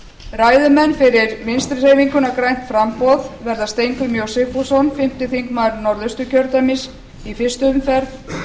ræðumenn fyrir vinstri hreyfinguna grænt framboð verða steingrímur j sigfússon fimmti þingmaður norðausturkjördæmis í fyrstu umferð